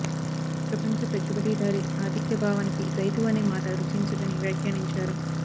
ప్రపంచ పెట్టెబడిదారీ ఆధిక్య భావానికి రైతు అనే మాట రుచించదని వ్యాఖ్యానించారు